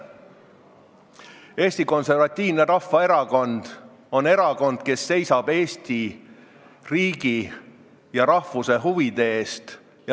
Eesti Konservatiivne Rahvaerakond on erakond, kes seisab Eesti riigi ja eesti rahvuse huvide eest.